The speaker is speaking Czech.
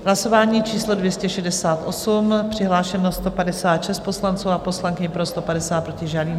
Hlasování číslo 268, přihlášeno 156 poslanců a poslankyň, pro 150, proti žádný.